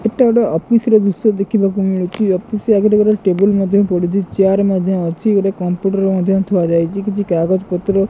ଏଟା ଗୋଟେ ଅଫିସ୍ ର ଦୃଶ୍ୟ ଦେଖିବାକୁ ମିଳୁଛି ଅଫିସ୍ ଆଗରେ ଗୁରେ ଟେବୁଲ୍ ମଧ୍ୟ ପଢ଼ିଛି ଚେୟାର ମଧ୍ଯ ଅଛି ଗୋଟେ କମ୍ପୁଟର ମଧ୍ୟ ଥୁଆଯାଇଛି କିଛି କାଗଜପତ୍ର--